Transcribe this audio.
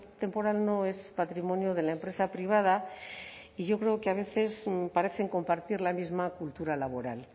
temporal no es patrimonio de la empresa privada y yo creo que a veces parecen compartir la misma cultura laboral